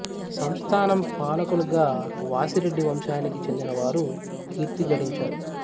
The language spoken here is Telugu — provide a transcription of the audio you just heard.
సంస్థానం పాలకులుగా వాసిరెడ్డి వంశానికి చెందిన వారు కీర్తి గడించారు